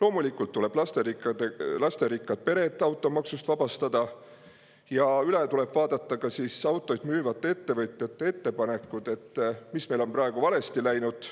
Loomulikult tuleb lasterikkad pered automaksust vabastada ja üle tuleb vaadata ka autosid müüvate ettevõtjate ettepanekud selle kohta, mis meil on praegu valesti läinud,